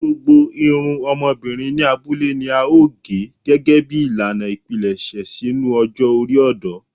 Gbogbo irun ọmọbirin ni abule ni ao ge gẹgẹbi ilana ipilẹṣẹ sinu ọjọ ori ọdọ